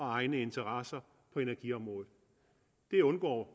egne interesser på energiområdet det undgår